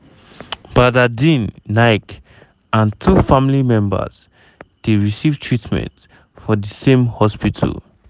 badardin naik and two family members dey receive treatment for di same hospital.